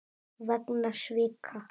vegna svika.